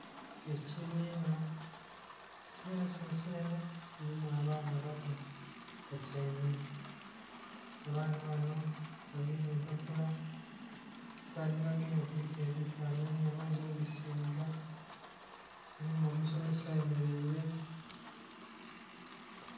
Ekibiina, ekibiina kino kinhenhe kilimu abaana bato, batyaime. Abaana banho bagemye empapula, empapula dhebagemye kuliku ebifanhanhi bamaze obisiiga, mulimu omusomesa ayemeleire...